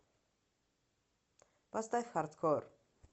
поставь хардкор